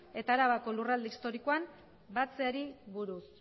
eta arabako lurralde historikoan batzeari buruz